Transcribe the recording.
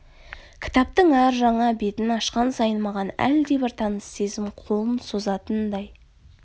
кітаптың әр жаңа бетін ашқан сайын маған әлдебір таныс сезім қолын созатындай